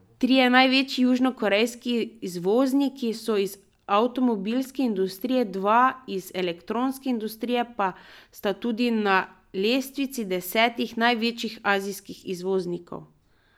Trije največji južnokorejski izvozniki so iz avtomobilske industrije, dva iz elektronske industrije pa sta tudi na lestvici desetih največjih azijskih izvoznikov.